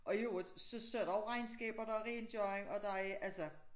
Og i øvrigt så så er der jo regnskaber der er rengøring og der er altså